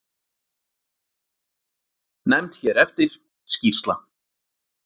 Nefnd hér eftir: Skýrsla.